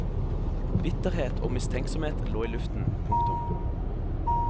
Bitterhet og mistenksomhet lå i luften. punktum